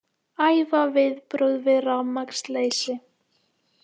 Æfa viðbrögð við rafmagnsleysi